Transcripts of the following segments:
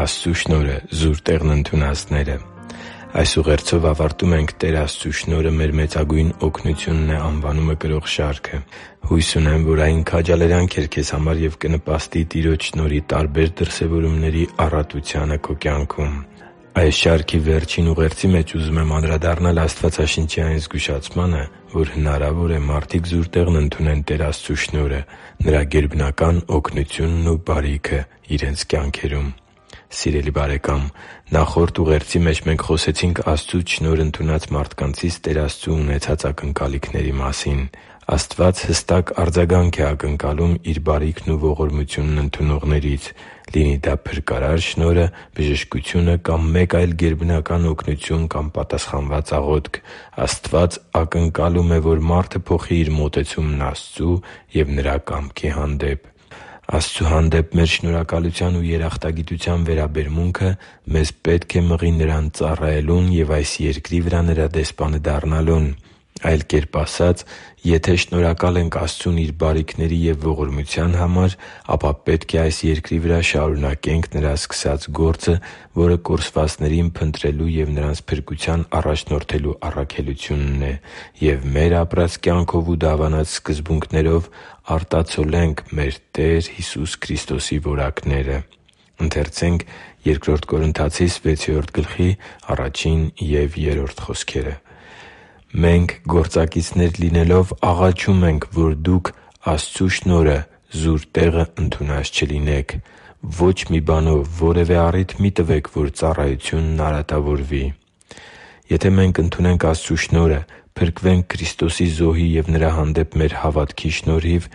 Աստծու շնորհը զուր տեղն ընդունածները Այս ուղերձով ավարտում ենք «Տեր Աստծու շնորհը մեր մեծագույն օգնությունն է» անվանումը կրող շարքը։ Հույս ունեմ, որ այն քաջալերանք էր քեզ համար և կնպաստի Տիրոջ շնորհի տարբեր դրսևորումների առատությանը քո կյանքում։ Այս շարքի վերջին ուղերձի մեջ ուզում եմ անդրադառնալ Աստվածաշնչի այն զգուշացմանը, որ հնարավոր է՝ մարդիկ զուր տեղն ընդունեն Տեր Աստծու շնորհը՝ Նրա գերբական օգնությունն ու բարիքն իրենց կյանքերում։ Սիրելի՛ բարեկամ, նախորդ ուղերձի մեջ մենք խոսեցինք Աստծուց շնորհն ընդունած մարդկանցից Տեր Աստծու ունեցած ակնկալիքների մասին։ Աստված հստակ արձագանք է ակնկալում Իր բարիքն ու ողորմությունն ընդունողներից։ Լինի դա փրկարար շնորհը, բժշկությունը կամ մեկ այլ գերբնական օգնություն կամ պատասխանված աղոթք՝ Աստված ակնկալում է, որ մարդը փոխի իր մոտեցումն Աստծու և Նրա կամքի հանդեպ։ Աստծու հանդեպ մեր շնորհակալության ու երախտագիտության վերաբերմունքը մեզ պետք է մղի Նրան ծառայելուն և այս երկրի վրա Նրա դեսպանը դառնալուն։ Այլ կերպ ասած՝ եթե շնորհակալ ենք Աստծուն Իր բարիքների և ողորմության համար, ապա պետք է այս երկրի վրա շարունակենք Նրա սկսած գործը, որը կորսվածներին փնտրելու և նրանց փրկության առաջնորդելու առաքելությունն է, և մեր ապրած կյանքով ու դավանած սկզբունքներով արտացոլենք մեր Տեր Հիսուս Քրիստոսի որակները։ «Մենք, գործակիցներ լինելով, աղաչում ենք, որ դուք Աստծու շնորհը զուր տեղը ընդունած չլինեք․․․ Ոչ մի բանով որևէ առիթ մի՛ տվեք, որ ծառայությունն արատավորվի» (Բ Կորնթացիս 6․1,3 ՆՎԱԱ): Եթե մենք ընդունենք Աստծու շնորհը՝ փրկվենք Քրիստոսի զոհի և Նրա հանդեպ մեր հավատքի շնորհիվ,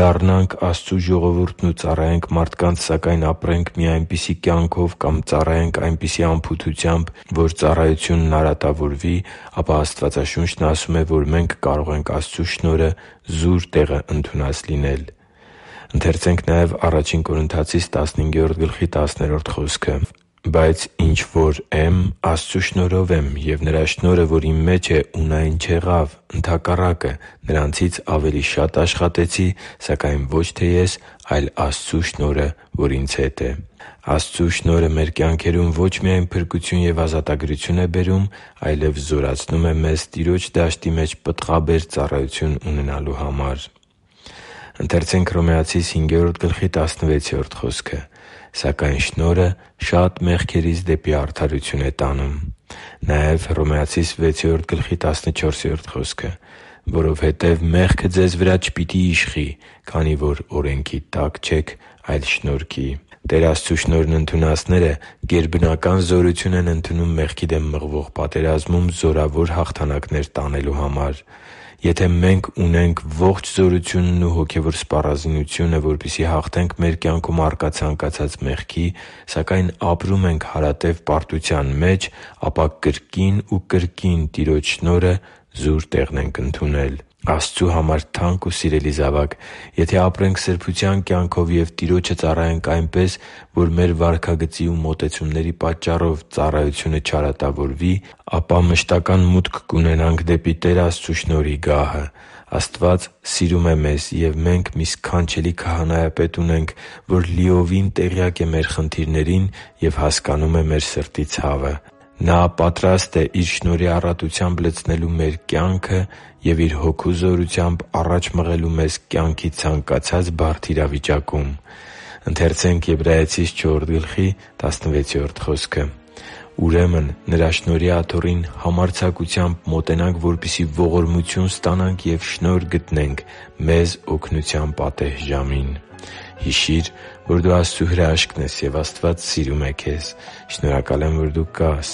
դառնանք Աստծու ժողովուրդն ու ծառայենք մարդկանց, սակայն ապրենք մի այնպիսի կյանքով կամ ծառայենք այնպիսի անփութությամբ, որ ծառայությունն արատավորվի, ապա Աստվածաշունչն ասում է, որ մենք կարող ենք Աստծու շնորհը զուր տեղը ընդունած լինել։ «Բայց ինչ որ եմ, Աստծու շնորհով եմ, և Նրա շնորհը, որ իմ մեջ է, ունայն չեղավ, ընդհակառակը, նրանցից ավելի շատ աշխատեցի. սակայն ոչ թե ես, այլ Աստծու շնորհը, որ ինձ հետ է» (Ա Կորնթացիս 15․10 ՆՎԱԱ): Աստծու շնորհը մեր կյանքում ո՛չ միայն փրկություն և ազատագրություն է բերում, այլև զորացնում է մեզ Տիրոջ դաշտի մեջ պտղաբեր ծառայություն ունենալու համար։ «․․․սակայն շնորհը շատ մեղքերից դեպի արդարություն է տանում» (Հռոմեացիս 5․16 ՆՎԱԱ): «Որովհետև մեղքը ձեզ վրա չպիտի իշխի, քանի որ օրենքի տակ չեք, այլ շնորհի» (Հռոմեացիս 6․14 ՆՎԱԱ): Տեր Աստծու շնորհն ընդունածները գերբնական զորություն են ընդունում մեղքի դեմ մղվող պատերազմում զորավոր հաղթանակներ տոնելու համար։ Եթե մենք ունենք ողջ զորությունն ու հոգևոր սպառազինությունը, որպեսզի հաղթենք մեր կյանքում առկա ցանկացած մեղքի, սակայն ապրում ենք հարատև պարտության մեջ, ապա կրկին ու կրկին Տիրոջ շնորհը զուր տեղն ենք ընդունել։ Աստծու համար թանկ ու սիրելի՛ զավակ, եթե ապրենք սրբության կյանքով և Տիրոջը ծառայենք այնպես, որ մեր վարքագծի ու մոտեցումների պատճառով ծառայությունը չարատավորվի, ապա մշտական մուտք կունենանք դեպի Տեր Աստծու շնորհի գահը։ Աստված սիրում է մեզ, և մենք մի սքանչելի Քահանայապետ ունենք, որ լիովին տեղյակ է մեր խնդիրներին և հասկանում է մեր սրտի ցավը։ Նա պատրաստ է Իր շնորհի առատությամբ լցնելու մեր կյանքը և Իր Հոգու զորությամբ առաջ մղելու մեզ կյանքի ցանկացած բարդագույն իրավիճակում։ «Ուրեմն Նրա շնորհի աթոռին համարձակությամբ մոտենանք, որպեսզի ողորմություն ստանանք ու շնորհ գտնենք մեզ օգնության պատեհ ժամին» (Եբրայեցիս 4․16 ՆՎԱԱ): Հիշի՛ր, որ դու Աստծո հրաշքն ես, և Աստված սիրում է քեզ։ Շնորհակալ եմ, որ դու կա՛ս